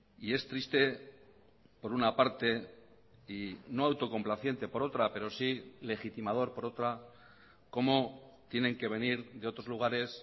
y es triste por una parte y no autocomplaciente por otra pero sí legitimador por otra cómo tienen que venir de otros lugares